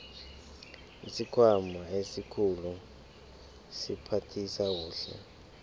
isikhwama esikhulu siphathisa kuhle